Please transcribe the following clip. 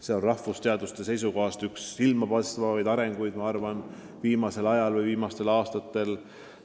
See on rahvusteaduste seisukohast üks silmapaistvaimaid ettevõtmisi viimastel aastatel.